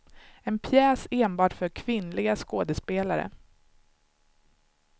En pjäs enbart för kvinnliga skådespelare.